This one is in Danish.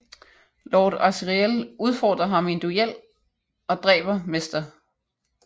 Lord Asriel udforderer ham i en duel og dræber Mr